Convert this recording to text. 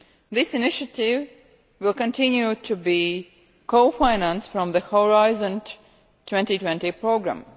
This initiative will continue to be co financed from the Horizon 2020 programme.